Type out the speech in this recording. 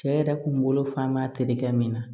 Cɛ yɛrɛ kun bolo fan ba terikɛ min na